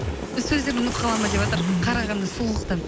сөздерін ұмытып қала ма деватыр қарағанда сұлулықтан